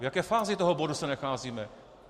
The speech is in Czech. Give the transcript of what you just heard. V jaké fázi toho bodu se nacházíme?